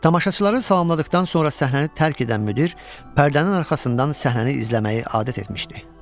Tamaşaçıları salamladıqdan sonra səhnəni tərk edən müdir pərdənin arxasından səhnəni izləməyi adət etmişdi.